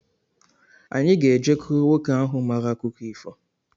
Anyi ga-ejekuru nwoke ahụ mara akụkọ ifo